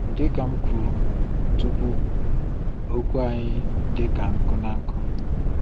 Dị ka m kwuru tupu, okwu anyị dị ka nkụ na-akụ.